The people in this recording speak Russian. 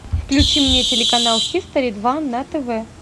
включи мне телеканал хистори два на тв